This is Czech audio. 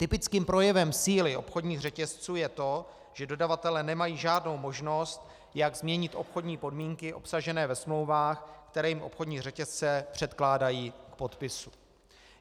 Typickým projevem síly obchodních řetězců je to, že dodavatelé nemají žádnou možnost, jak změnit obchodní podmínky obsažené ve smlouvách, které jim obchodní řetězce předkládají k podpisu.